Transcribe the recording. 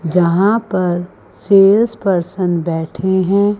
जहां पर sales person बैठे हैं।